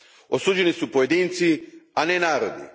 Osuđeni su pojedinci, a ne narodi.